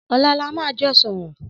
Ọlà là mà jọ sọrọ